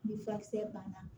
Ni furakisɛ banna